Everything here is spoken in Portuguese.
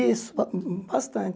Isso, ba bastante.